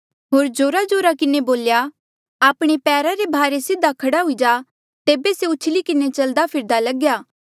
होर जोराजोरा किन्हें बोल्या आपणे पैरा रे भारे सीधा खड़ा हुई जा तेबे से उछली किन्हें चलदा फिरदा लग्या